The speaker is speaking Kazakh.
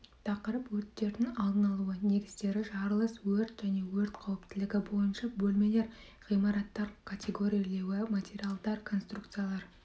тақырып өрттердің алдын алу негіздері жарылыс өрт және өрт қауіптілігі бойынша бөлмелер ғимараттар категорирлеуі материалдар конструкциялар